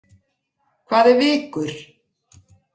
Hvað er vikur?